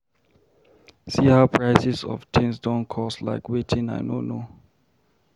See how prices of things don cost like wetin I no know.